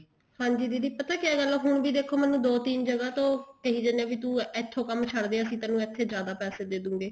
ਹਾਂਜੀ ਦੀਦੀ ਪਤਾ ਕਿਆ ਗੱਲ ਆ ਹੁਣ ਵੀ ਦੇਖੋ ਦੋ ਤਿੰਨ ਜਗ੍ਹਾ ਤੋਂ ਕਹਿ ਜਾਂਦੇ ਆ ਵੀ ਤੂੰ ਇੱਥੋਂ ਕੰਮ ਛੱਡ ਦੇ ਤੈਨੂੰ ਇੱਥੇ ਜਿਆਦਾ ਪੈਸੇ ਦੇਦੁਗੇ